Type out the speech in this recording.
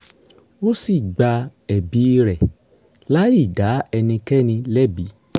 ó sì gba ẹ̀bi rẹ̀ láì dá ẹnikẹ́ni lẹ́bi